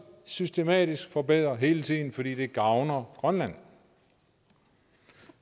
systematisk forbedre hele tiden fordi det gavner grønland og